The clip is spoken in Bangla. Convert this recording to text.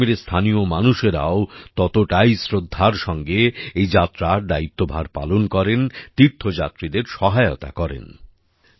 জম্মুকাশ্মীরের স্থানীয় মানুষরাও ততটাই শ্রদ্ধার সঙ্গে এই যাত্রার দায়িত্বভার পালন করেন তীর্থযাত্রীদের সহায়তা করেন